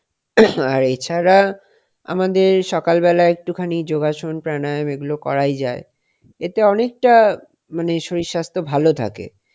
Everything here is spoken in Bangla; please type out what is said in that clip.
আর এছাড়া আমাদের সকালবেলা একটুখানি যোগাসন প্রাণায়াম এগুলো করাই যায় এতে অনেকটা মানে শরীর স্বাস্থ্য ভালো থাকে,